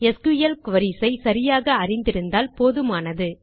SQL queries ஐ சரியாக அறிந்திருந்தால் போதுமானது